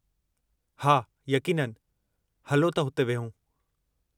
हा, यक़ीननि! हलो त हुते विहूं।